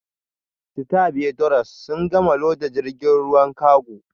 Stevedores sun gama loda jirgin ruwan kago